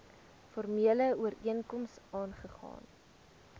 formele ooreenkoms aagegaan